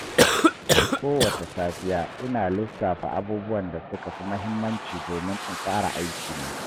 Kowace safiya, ina lissafa abubuwan da suka fi muhimmanci domin in tsara aikina.